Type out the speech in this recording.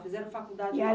Fizeram faculdade?